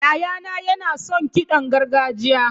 Yayana yana son kiɗan gargajiya.